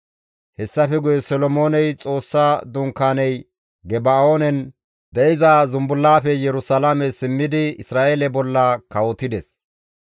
Hessafe guye Solomooney Xoossa Dunkaaney Geba7oonen de7iza zumbullaafe Yerusalaame simmidi Isra7eele bolla kawotides.